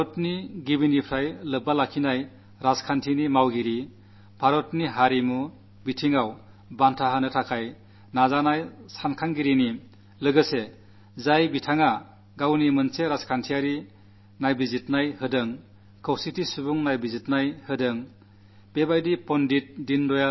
ഭാരതത്തിന്റെ ആത്മാവിനെ അറിയുന്ന രാജനീതിയുടെ പക്ഷത്തുനിന്നുകൊണ്ട് ഭാരതത്തിന്റെ സാംസ്കാരിക പൈതൃകത്തെ മാനിക്കുന്ന ചിന്താധാരയുള്ള ഒരു രാജനൈതിക ദർശനം അദ്ദേഹം നല്കിയിരുന്നു